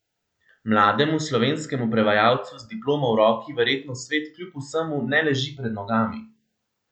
Mlademu slovenskemu prevajalcu z diplomo v roki verjetno svet kljub vsemu ne leži pred nogami.